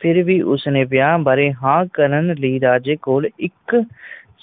ਫੇਰ ਵੀ ਉਸਨੇ ਵਿਆਹ ਬਾਰੇ ਹਾਂ ਕਰਨ ਰਾਜੇ ਕੋਲ ਇੱਕ